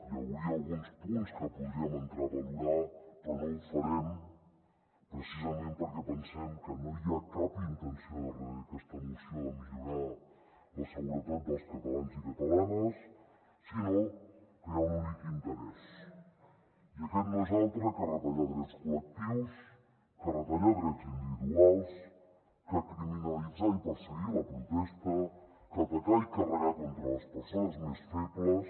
hi hauria alguns punts que podríem entrar a valorar però no ho farem precisament perquè pensem que no hi ha cap intenció darrere d’aquesta moció de millorar la seguretat dels catalans i catalanes sinó que hi ha un únic interès i aquest no és altre que retallar drets col·lectius que retallar drets individuals que criminalitzar i perseguir la protesta que atacar i carregar contra les persones més febles